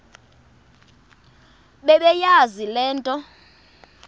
bebeyazi le nto